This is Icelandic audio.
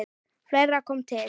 Fleira kom til.